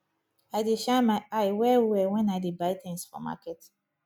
i dey shine my eye wellwell wen i dey buy tins for market